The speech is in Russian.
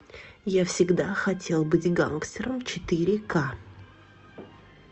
я всегда хотел быть гангстером четыре ка